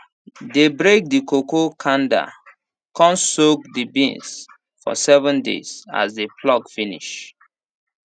dey break the cocoa kanda con soak the beans for seven days as dey pluck finish